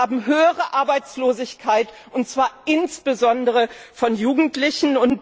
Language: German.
Wir haben höhere Arbeitslosigkeit, und zwar insbesondere unter Jugendlichen.